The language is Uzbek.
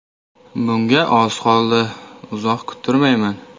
Bunga oz qoldi, uzoq kuttirmayman.